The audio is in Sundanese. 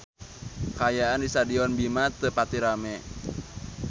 Kaayaan di Stadion Bima teu pati rame